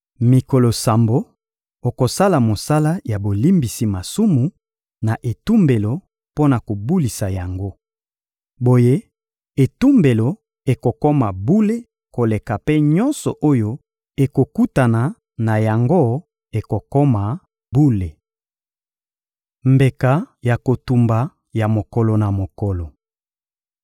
Mikolo sambo, okosala mosala ya bolimbisi masumu na etumbelo mpo na kobulisa yango. Boye etumbelo ekokoma bule koleka mpe nyonso oyo ekotutana na yango ekokoma bule. Mbeka ya kotumba ya mokolo na mokolo